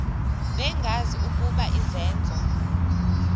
bengazi ukuba izenzo